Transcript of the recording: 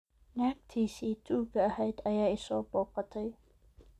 naagtiisii ​​tuuga ahayd ayaa i soo booqatay